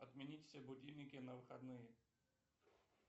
отменить все будильники на выходные